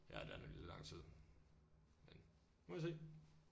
Ja det er nemlig lang tid men nu må vi se